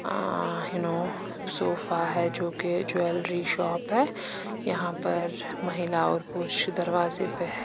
अ हिनो सोफा है जोकि ज्वेलरी शॉप है यहाँ पर महिलाओं पुरुष दरवाजे पर हैं।